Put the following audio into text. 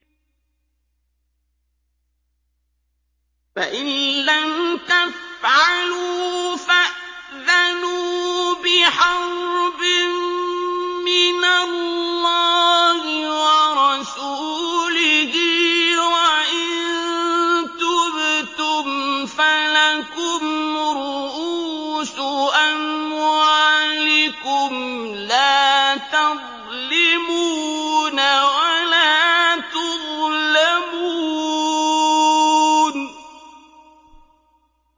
فَإِن لَّمْ تَفْعَلُوا فَأْذَنُوا بِحَرْبٍ مِّنَ اللَّهِ وَرَسُولِهِ ۖ وَإِن تُبْتُمْ فَلَكُمْ رُءُوسُ أَمْوَالِكُمْ لَا تَظْلِمُونَ وَلَا تُظْلَمُونَ